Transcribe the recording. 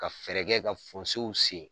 Ka fɛɛrɛ kɛ , ka sen.